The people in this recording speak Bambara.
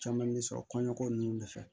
Caman bɛ sɔrɔ kɔɲɔko ninnu de fɛ